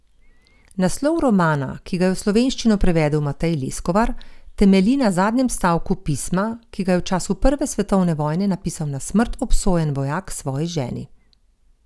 Naslov romana, ki ga je v slovenščino prevedel Matej Leskovar, temelji na zadnjem stavku pisma, ki ga je v času prve svetovne vojne napisal na smrt obsojen vojak svoji ženi.